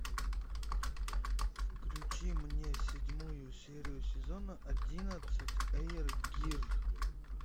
включи мне седьмую серию сезона одиннадцать эйр гир